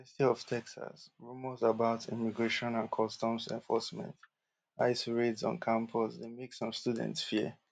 for di university of texas rumours about immigration and customs enforcement ice raids on campus dey make some students fear